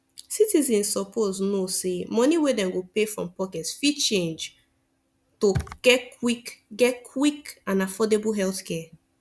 citizens suppose know say money wey dem go pay from pocket fit change to get quick get quick and affordable healthcare